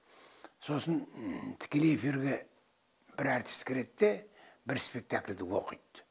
сосын тікелей эфирге бір әртіс кіреді де бір спектакльді оқиды